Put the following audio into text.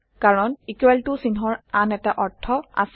কাৰণ equal ত চিহ্নৰ আন এটা অৰ্থ আছে